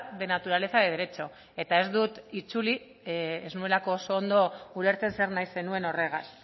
de naturaleza de derecho eta ez dut itzuli ez nuelako oso ondo ulertzen zer nahi zenuen horregaz